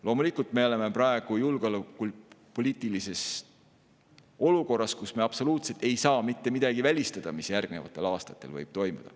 Loomulikult, me oleme praegu julgeolekupoliitilises olukorras, kus me absoluutselt ei saa mitte midagi välistada, mis järgnevatel aastatel võib toimuda.